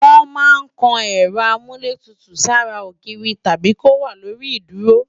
Wọ́n máa ń kan Ẹ̀rọ Amúlétutù sára ogiiri tàbí kó wà lórí ìdúró